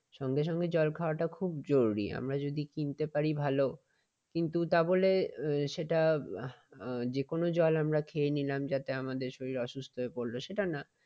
সঙ্গে সঙ্গে জল খাওয়াটা খুব জরুরি আমরা যদি কিনতে পারি ভালো । কিন্তু তাহলে সেটা যেকোনো জল আমরা খেয়ে নিলাম যাতে আমাদের শরীর অসুস্থ হয়ে পড়ল সেটা না।